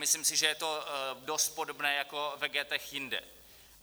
Myslím si, že to je dost podobné jako v ghettech jinde.